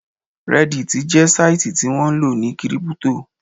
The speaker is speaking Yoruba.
Reddit jẹ́ sáìtì tí wọ́n ńlò ní kírípútò